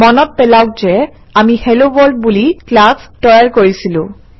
মনত পেলাওক যে আমি হেলোৱৰ্ড বুলি ক্লাছ তৈয়াৰ কৰিছিলো